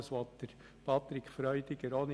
Das will Grossrat Freudiger auch nicht.